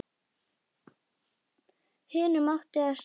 Hinum átti að slátra.